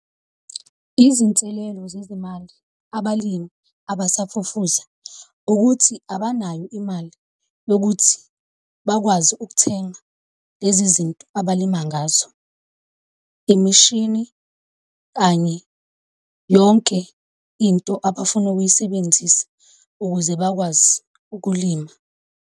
Izinselelo zezemali abalimi abasafufusa, ukuthi abanayo imali yokuthi bakwazi ukuthenga lezi zinto abalima ngazo, imishini kanye yonke into abafuna ukuyisebenzisa ukuze bakwazi ukulima.